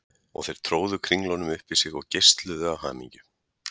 Og þeir tróðu kringlunum upp í sig og geisluðu af hamingju.